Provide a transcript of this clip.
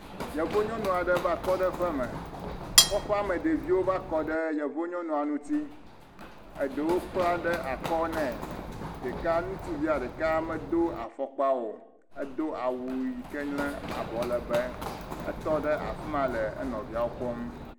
Yevunyɔnu aɖe va kɔ ɖe ƒe me. Kɔƒea me ɖeviwo va kɔ ɖe yevu nyɔnua ŋuti. Eɖewo kpla ɖe akɔ ne. Ɖeka ŋtsuvia ɖeka medo afɔkpa o. edo awu yi ke nye abɔ lebe. Etɔ ɖe afi ma nɔ enɔviawo kpɔm.